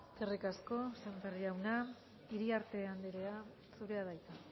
eskerrik asko semper jauna iriarte andrea zurea da hitza